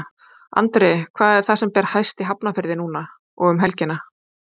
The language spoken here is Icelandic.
Andri, hvað er það sem ber hæst í Hafnarfirði núna í dag og um helgina?